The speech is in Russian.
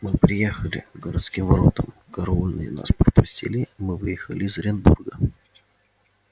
мы приехали к городским воротам караульные нас пропустили мы выехали из оренбурга